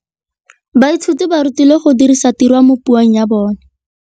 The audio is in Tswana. Baithuti ba rutilwe go dirisa tirwa mo puong ya bone.